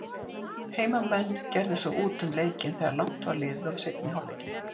Heimamenn gerðu svo út um leikinn þegar langt var liðið á seinni hálfleikinn.